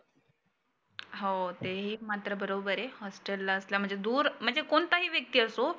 हाओ ते ही मात्र बरोबर आहे. हॉस्टेलला असला म्हणजे दुर म्हणजे कोणताही व्यक्ती असो